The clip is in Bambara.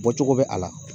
Bɔcogo bɛ a la